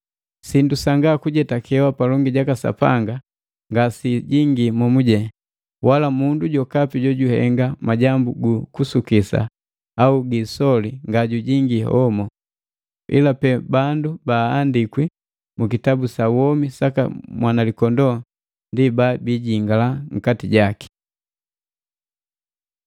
Sindu sanga kujetakewa palongi jaka Sapanga ngasiijingi momujene, wala mundu jokapi jojuhenga majambu gu kusukisa au gi isoli nga jujingii homo. Ila pe bandu baandikwi mu kitabu sa womi saka Mwanalikondoo ndi ba bijingala nkati jaki.